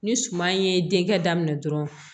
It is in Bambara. Ni suman in ye denkɛ daminɛ dɔrɔn